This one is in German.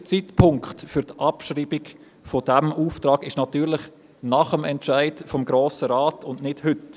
Der richtige Zeitpunkt für die Abschreibung dieses Auftrags liegt natürlich nach dem Entscheid des Grossen Rates und nicht heute.